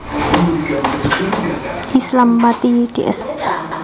Islam Pati Ds